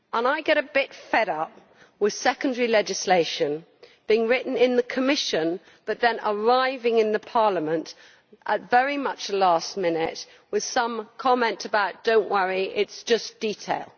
I get a bit fed up with secondary legislation being written in the Commission but then arriving in Parliament very much last minute with some comment saying not to worry as it is just detail.